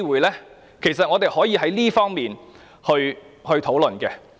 事實上，我們可以在這方面多作討論。